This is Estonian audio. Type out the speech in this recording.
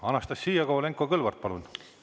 Anastassia Kovalenko-Kõlvart, palun!